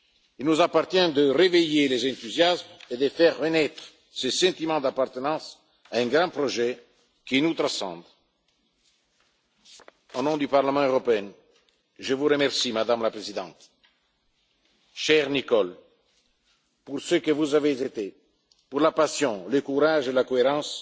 gens. Il nous appartient de réveiller les enthousiasmes et de faire renaître ce sentiment d'appartenance à un grand projet qui nous transcende. Au nom du Parlement européen, je vous remercie, Madame la Présidente, chère Nicole, pour ce que vous avez été, pour la passion, le courage et la